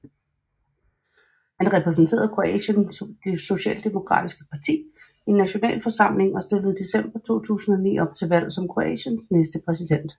Han repræsenterede Kroatiens socialdemokratiske parti i nationalforsamlingen og stillede i december 2009 op til valg som Kroatiens næste præsident